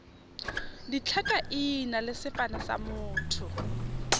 ditlhakaina le sefane sa motho